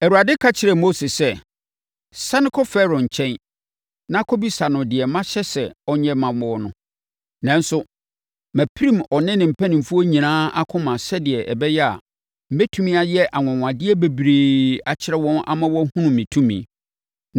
Awurade ka kyerɛɛ Mose sɛ, “Sane kɔ Farao nkyɛn na kɔbisa no deɛ mahyɛ sɛ ɔnyɛ mma wo no. Nanso, mapirim ɔne ne mpanimfoɔ nyinaa akoma sɛdeɛ ɛbɛyɛ a, mɛtumi ayɛ anwanwadeɛ bebree akyerɛ wɔn ama wɔahunu me tumi.